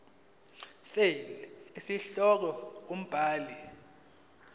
fal isihloko umbhali